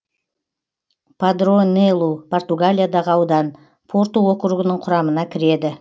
падронелу португалиядағы аудан порту округінің құрамына кіреді